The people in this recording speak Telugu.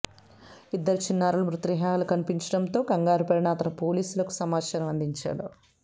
ఇద్దరు చిన్నారుల మృతదేహాలు కనిపించడంతో కంగారుపడిన అతను పోలీసులకు సమాచారం అందించాడు